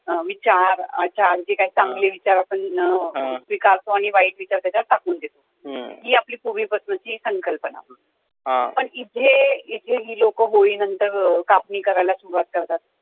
अं विचार, आचार, जे काही चांगले विचार आपण अं स्वीकारतो आणि वाईट विचार त्याच्यात टाकुन देतो, ही आपली पुर्वी पासुनची संकल्पना पण इथे इथे ही लोकं होळी नंतर कापणी करायला सुरुवात करतात